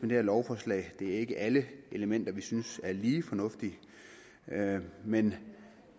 det her lovforslag det er ikke alle elementer vi synes er lige fornuftige men